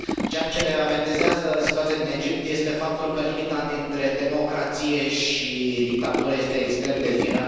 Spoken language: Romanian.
Ceea ce ne avertizează situația din Egipt este faptul că limita dintre democrație și dictatură este extrem de fină.